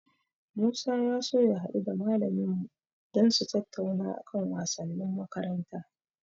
Musa ya so ya haɗu da malamin mu dan su tattauna a kan wasannin makaranta.